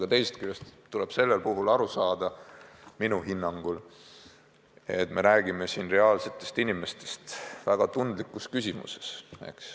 Ent teisest küljest tuleb siiski aru saada, et me räägime reaalsetest inimestest väga tundlikus küsimuses.